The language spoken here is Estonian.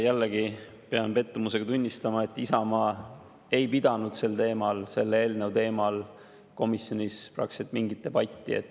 Jällegi pean pettumusega tunnistama, et Isamaa ei pidanud selle eelnõu teemal komisjonis praktiliselt mingit debatti.